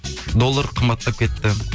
доллар қымбаттап кетті